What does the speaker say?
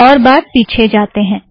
एक और बार पीछे जातें हैं